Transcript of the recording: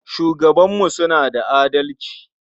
Shugabanmu suna da adalci.